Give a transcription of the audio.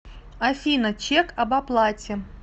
афина чек об оплате